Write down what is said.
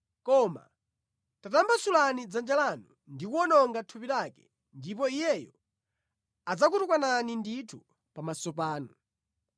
Koma tatambasulani dzanja lanu ndi kuwononga thupi lake, ndipo iyeyo adzakutukwanani ndithu pamaso panu.”